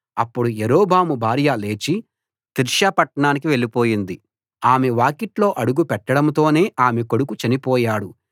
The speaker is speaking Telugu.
అప్పుడు యరొబాము భార్య లేచి తిర్సా పట్టణానికి వెళ్లిపోయింది ఆమె వాకిట్లో అడుగు పెట్టడంతోనే ఆమె కొడుకు చనిపోయాడు